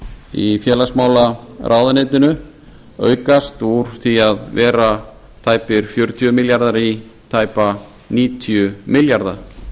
í félagsmálaráðuneytinu aukast úr því að vera tæpir fjörutíu milljarðar í tæpa níutíu milljarða